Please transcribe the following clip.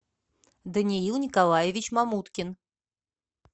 даниил николаевич мамуткин